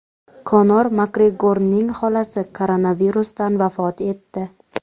Konor Makgregorning xolasi koronavirusdan vafot etdi.